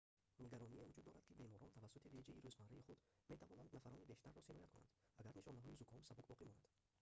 нигароние вуҷуд дорад ки беморон тавассути реҷаи рӯзмарраи худ метавонанд нафарони бештарро сироят кунанд агар нишонаҳои зуком сабук боқӣ монад